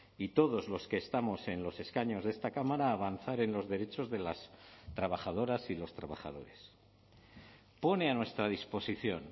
y todos los que estamos en los escaños de esta cámara a avanzar en los derechos de las trabajadoras y los trabajadores pone a nuestra disposición